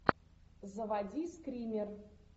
заводи скример